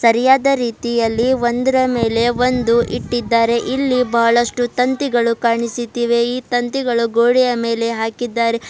ಸರಿಯಾದ ರೀತಿಯಲ್ಲಿ ಒಂದರ ಮೇಲೆ ಒಂದು ಇಟ್ಟಿದ್ದಾರೆ ಇಲ್ಲಿ ಬಹಳಷ್ಟು ತಂತಿಗಳು ಕಾಣಿಸುತ್ತಿವೆ ಈ ತಂತಿಗಳು ಗೋಡೆಯ ಮೇಲೆ ಹಾಕಿದ್ದಾರೆ.